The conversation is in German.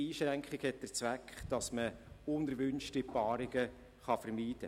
Eine solche Einschränkung bezweckt, unerwünschte Paarungen zu vermeiden.